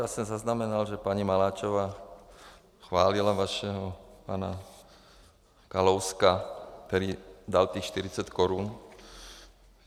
Já jsem zaznamenal, že paní Maláčová chválila vašeho pana Kalouska, který dal těch 40 korun.